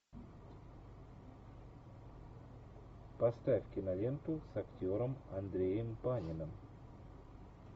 поставь киноленту с актером андреем паниным